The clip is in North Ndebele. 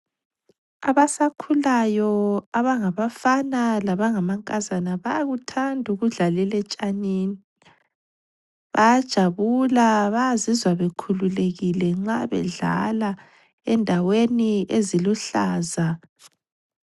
Abasakhulayo abangabafana labangamankazana bayakuthanda ukudlalele etshanini bayajabula bayazizwa bekhululekile nxa bedlala endaweni eziluhlaza.